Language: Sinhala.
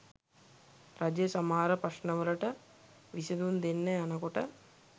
රජය සමහර ප්‍රශ්නවලට විසඳුම් දෙන්න යන කොට